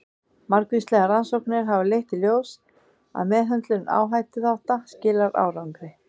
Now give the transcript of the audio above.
Margvíslegar rannsóknir hafa leitt í ljós að meðhöndlun áhættuþátta skilar árangri.